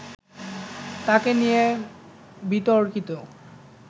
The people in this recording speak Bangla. তাকে নিয়ে বিতর্কিত